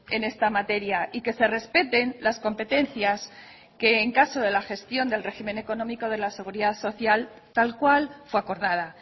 en esta materia y que se respeten las competencias que en caso de la gestión del régimen económico de la seguridad social tal cual fue acordada